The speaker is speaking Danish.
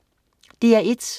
DR1: